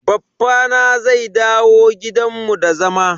Baffa na zai dawo gidan mu da zama.